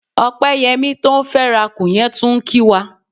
Ọpẹ́yẹmí tó ń fẹ́rakù yẹn tún ń kí wa.